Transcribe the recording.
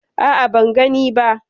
A'a, ban gani ba.